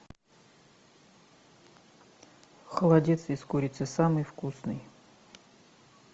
холодец из курицы самый вкусный